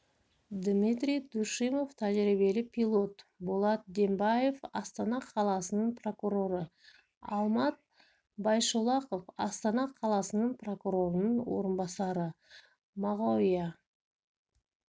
дмитрий душимов тәжірибелі пилот болат дембаев астана қаласының прокуроры алмат байшолақов астана қаласы прокурорының орынбасары мағауия